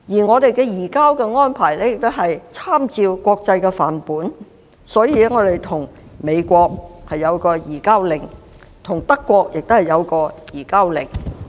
我們的移交安排參照國際範本，與美國有一項移交令，與德國亦如是。